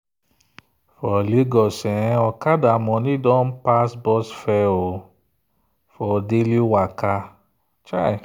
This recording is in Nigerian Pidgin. for lagos okada money don pass bus fare for daily waka.